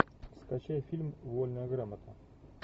скачай фильм вольная грамота